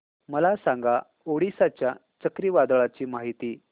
मला सांगा ओडिशा च्या चक्रीवादळाची माहिती